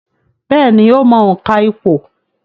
Bẹ́ẹ̀ni, ó mọ òǹkà ìpò